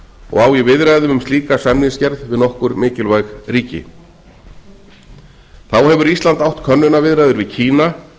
og á í viðræðum um slíka samningsgerð við nokkur mikilvæg ríki þá hefur ísland átt könnunarviðræður við kína